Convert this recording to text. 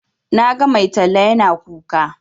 Na ga mai talla yana kuka.